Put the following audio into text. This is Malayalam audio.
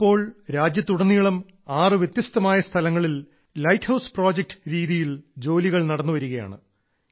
ഇപ്പോൾ രാജ്യത്ത് ഉടനീളം 6 വ്യത്യസ്തമായ സ്ഥലങ്ങളിൽ ലൈറ്റ് ഹൌസ് പ്രോജക്ട് രീതിയിൽ ജോലികൾ നടന്നുവരികയാണ്